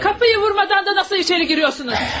Hey, qapıyı vurmadan da necə içəri girirsiniz?